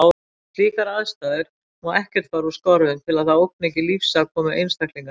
Við slíkar aðstæður má ekkert fara úr skorðum til að það ógni ekki lífsafkomu einstaklinganna.